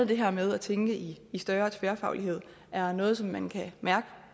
det her med at tænke i større tværfaglighed er noget som man kan mærke